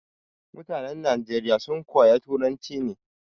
Mutanan Nageriya sun koya turanci ne